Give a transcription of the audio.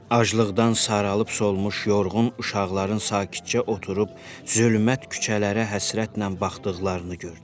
Aclıqdan saralıb solmuş yorğun uşaqların sakitcə oturub zülmət küçələrə həsrətlə baxdıqlarını gördü.